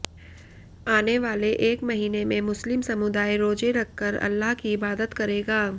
आने वाले एक महीने में मुस्लिम समुदाय रोजे रखकर अल्लाह की इबादत करेगा